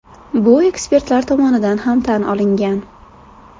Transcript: Bu ekspertlar tomonidan ham tan olingan.